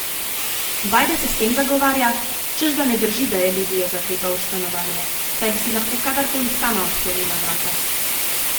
Bajde se s tem zagovarja, češ da ne drži, da je Lidijo zaklepal v stanovanje, saj bi si lahko kadar koli sama odklenila vrata.